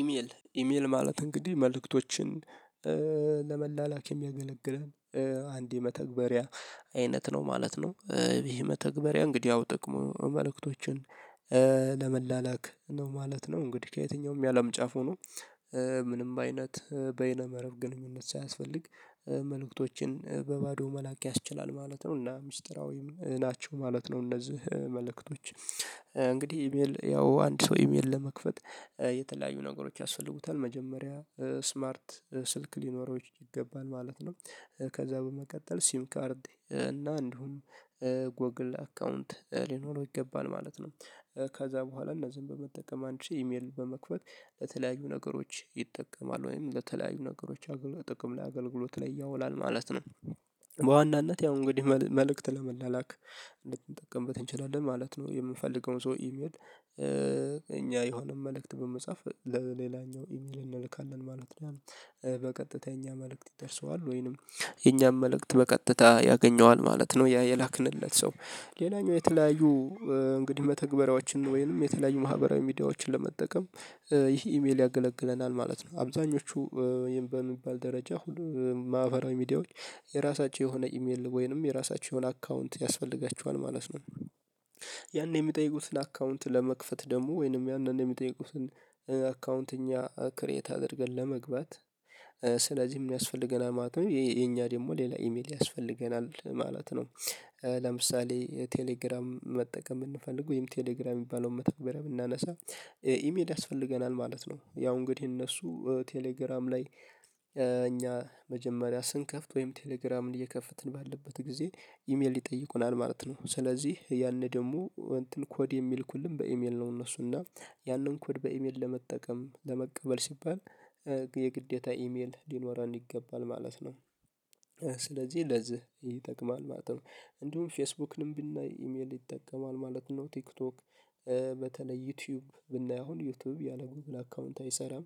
ኢሜል ኢሜል ማለት እንግዲህ መልእክቶችን ለመላላክ የሚያገለግለን አንድ የመተግበሪያ አይነት ነው ማለት ነው። ይሄ መተግበሪያ እንግዲህ ያው ጥቅሞ መልእክቶችን ለመላላክ ነው ማለት ነው። እንግዲህ ከየትኛውም ያለም ጫፍ ሆኖ ምንም አይነት በይነ መረብ ግንኙነት ሳያስፈልግ መልእክቶችን በባዶ መላክ ያስችላል ማለት ነው። እና ምስጢራዊም ናቸው ማለት ነው። እነዚህ መልእክቶች እንግዲህ ኢሜል ያው አንድ ሰው ኢሜል ለመክፈት የተለያዩ ነገሮች ያስፈልጉታል መጀመሪያ ስማርት ስልክ ሊኖረው ይገባል ማለት ነው። ከዛ በመቀጠል ሲም ካርድ እና እንዲሁም ጎግል አካውንት ሊኖረው ይገባል ማለት ነው። ከዛ በኋላ እነዚህን በመጠቀም አንቺ ኢሜል በመክፈት ለተለያዩ ነገሮች ይጠቀማል ወይም ለተለያዩ ነገሮች አገልግሎት ጥቅም ላይ አገልግሎት ላይ ያውላል ማለት ነው። በዋናነት ያው እንግዲህ መልእክት ለመላላክ ልንጠቀምበት እንችላለን ማለት ነው። የምንፈልገውን ሰው ኢሜል እኛ የሆነ መልእክት በመጻፍ ለሌላኛው ኢሜል እንልካለን ማለት ነው። በቀጥተኛ መልእክት ይደርሰዋል ወይንም የኛም መልእክት በቀጥታ ያገኘዋል ማለት ነው። ያ የላክንለት ሰው ሌላኛው የተለያዩ እንግዲህ መተግበሪያዎችን ወይንም የተለያዩ ማህበራዊ ሚዲያዎችን በመጠቀም ይህ ኢሜል ያገለግለናል ማለት ነው። አብዛኞቹ በሚባል ደረጃ ማህበራዊ ሚዲያዎች የራሳቸው የሆነ ኢሜል ወይንም የራሳቸውን አካውንት ያስፈልጋቸዋል ማለት ነው። ያን የሚጠይቁትን አካውንት ለመክፈት ደግሞ ወይንም ያንን የሚጠይቁትን አካውንት እኛ ክሬት አድርገን ለመግባት ስለዚህም የሚያስፈልገናል ማለት ነው። የኛ ደግሞ ሌላ ኢሜል ያስፈልገናል ማለት ነው። ለምሳሌ ቴሌግራም መጠቀም የምንፈልገው ይሄም ቴሌግራም የሚባለውን መተግበሪያ የምናነሳ ኢሜል ያስፈልገናል ማለት ነው። ያው እንግዲህ እነሱ ቴሌግራም ላይ እኛ መጀመሪያ ስንከፍት ወይም ቴሌግራምን እየከፈትን ባለበት ጊዜ ኢሜል ይጠይቁናል ማለት ነው። ስለዚህ ያኔ ደግሞ እንትን ኮድ የሚልኩልን በኢሜል ነው እነሱ እና ያንን ኮድ በኢሜል ለመጠቀም ለመቀበል ሲባል የግዴታ ኢሜል ሊኖረን ይገባል ማለት ነው። ስለዚህ ለዚህ ይጠቅማል ማለት ነው። እንዲሁም ፌስቡክንም ብናይ ኢሜል ይጠቀማል ማለት ነው። ቲክቶክ በተለይ ዩቲዩብ ብናየው ዩቲዩብ ያለ ጉግል አካውንት አይሰራም።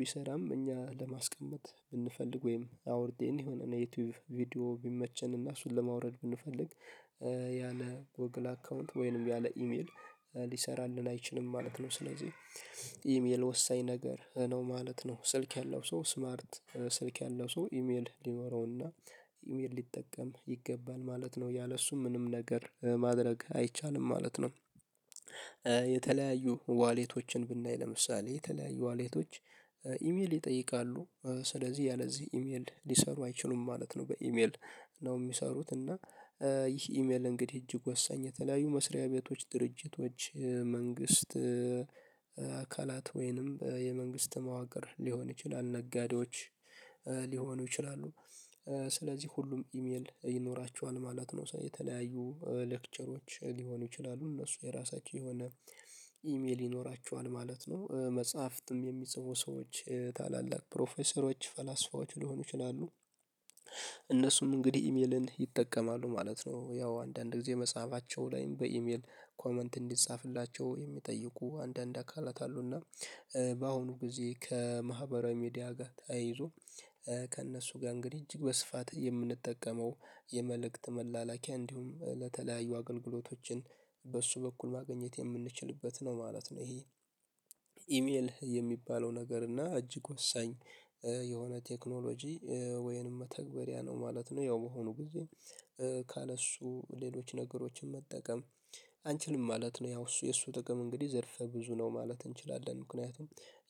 ቢሰራም እኛ ለማስቀመጥ ብንፈልግ ወይም አውርዴን የሆነ ዩቲዩብ ቪዲዮ ቢመቸን እና እሱን ለማውረድ ብንፈልግ ያለ ጎግል አካውንት ወይንም ያለ ኢሜል ሊሰራልን አይችልም ማለት ነው። ስለዚህ ኢሜል ወሳኝ ነገር ነው ማለት ነው። ስልክ ያለው ሰው ስማርት ስልክ ያለው ሰው ኢሜል ሊኖረውና ኢሜል ሊጠቀም ይገባል ማለት ነው ያለሱ ምንም ነገር ማድረግ አይቻልም ማለት ነው። የተለያዩ ዋሌቶችን ብናይ ለምሳሌ የተለያዩ ዋሌቶች ኢሜል ይጠይቃሉ ስለዚህ ያለዚህ ኢሜል ሊሰሩ አይችሉም ማለት ነው። በኢሜል ነው የሚሰሩት እና። ይህ ኢሜል እንግዲህ እጅግ ወሳኝ የተለያዩ መስሪያ ቤቶች ድርጅቶች መንግስት አካላት ወይንም የመንግስት መዋቅር ሊሆን ይችላል ነጋዴዎች ሊሆኑ ይችላሉ ስለዚህ ሁሉም ኢሜል ይኖራቸዋል ማለት ነው። የተለያዩ ሌክቸሮች ሊሆኑ ይችላሉ እነሱ የራሳቸው የሆነ ኢሜል ይኖራችኋል ማለት ነው። መጽሐፍትም የሚጽፉ ሰዎች ታላላቅ ፕሮፌሰሮች ፈላስፋዎች ሊሆኑ ይችላሉ። እነሱም እንግዲህ ኢሜልን ይጠቀማሉ ማለት ነው። ያው አንዳንድ ጊዜ መጽሐፋቸው ላይም በኢሜል ኮመንት እንዲጻፍላቸው የሚጠይቁ አንዳንድ አካላት አሉና። በአሁኑ ጊዜ ከማህበራዊ ሚዲያ ጋር ተያይዞ ከእነሱ ጋር እንግዲህ እጅግ በስፋት የምንጠቀመው የመልእክት መላላኪያ እንዲሁም ለተለያዩ አገልግሎቶችን በሱ በኩል ማግኘት የምንችልበት ነው ማለት ነው። ይሄ ኢሜል የሚባለው ነገር እና እጅግ ወሳኝ የሆነ ቴክኖሎጂ ወይንም መተግበሪያ ነው ማለት ነው። ያው በሆነው ጊዜ ካለ እሱ ሌሎች ነገሮችን መጠቀም አንችልም ማለት ነው። ያው እሱ የእሱ ጥቅም እንግዲህ ዘርፈ ብዙ ነው ማለት እንችላለን። ምክንያቱም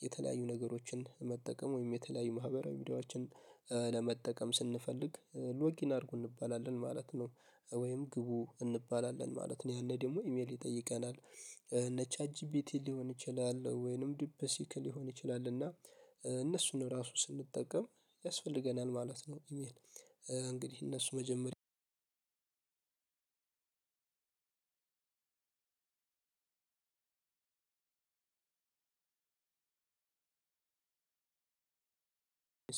የተለያዩ ነገሮችን መጠቀም ወይም የተለያዩ ማህበራዊ ሚዲያዎችን ለመጠቀም ስንፈልግ ሎጊን አድርጎ እንባላለን ማለት ነው። ወይም ግቡ እንባላለን ማለት ነው። ያኔ ደግሞ ኢሜል ይጠይቀናል እነ ቻት ቻጂቢቲ ሊሆን ይችላል ወይንም ዱፕ ሲክ ሊሆን ይችላል እና እነሱን ራሱ ስንጠቀም ያስፈልገናል ማለት ነው። ኢሜል እነሱ መጀመሪያ እንድህ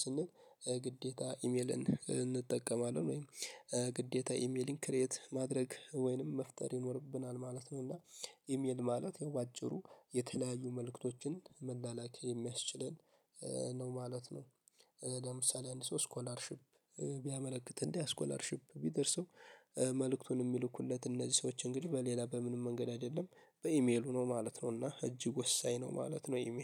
ስንል ግዴታ ኢሜልን እንጠቀማለን ወይም ግዴታ ኢሜሊንግ ክሬት ማድረግ ወይንም መፍጠር ይኖርብናል ማለት ነው። እና ኢሜል ማለት ያው አጭሩ የተለያዩ መልእክቶችን መላላክ የሚያስችለን ነው ማለት ነው። ለምሳሌ አንድ ሰው ስኮላርሺፕ ቢያመለክት እና ያ ስኮላርሺፕ ቢደርሰው መልእክቱን የሚልኩለት እነዚህ ሰዎች እንግዲህ በሌላ በምንም መንገድ አይደለም በኢሜሉ ነው ማለት ነው። እና እጅግ ወሳኝ ነው ማለት ነው። ኢሜል